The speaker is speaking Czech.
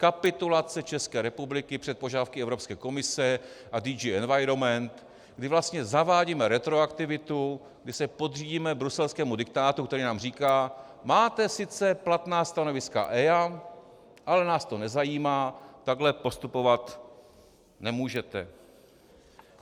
Kapitulace České republiky před požadavky Evropské komise a DG Environment, kdy vlastně zavádíme retroaktivitu, kdy se podřídíme bruselskému diktátu, který nám říká: Máte sice platná stanoviska EIA, ale nás to nezajímá, takhle postupovat nemůžete.